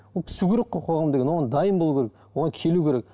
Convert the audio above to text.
ол түсу керек қой қоғам деген оған дайын болу керек оған келу керек